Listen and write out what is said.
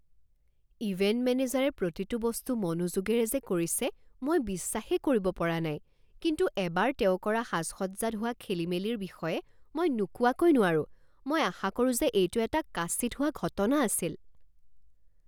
Event মেনেজাৰে প্ৰতিটো বস্তু মনোযোগেৰে যে কৰিছে মই বিশ্বাসেই কৰিব পৰা নাই কিন্তু এবাৰ তেওঁ কৰা সাজ সজ্জাত হোৱা খেলিমেলিৰ বিষয়ে মই নোকোৱাকৈ নোৱাৰোঁ। মই আশা কৰোঁ যে এইটো এটা কাচিৎ হোৱা ঘটনা আছিল।